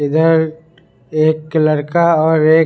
इधर एक लड़का और एक--